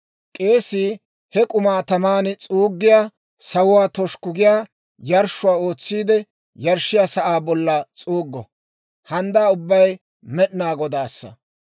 K'eesii he k'umaa taman s'uuggiyaa, sawuwaa toshukku giyaa yarshshuwaa ootsiide yarshshiyaa sa'aa bolla s'uuggo. Handdaa ubbay Med'inaa Godaassa.